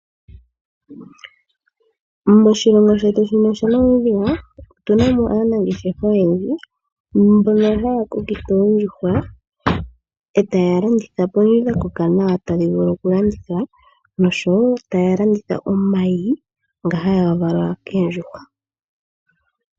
Moshilongo shetu shino shaNamibia otu na mo aanangeshefa oyendji mbono haya kokitha oondjuhwa e taya landitha po ndhi dha koka nawa tadhi vulu okulandithwa nosho wo taya landitha omayi ngono haga valwa koondjuhwa.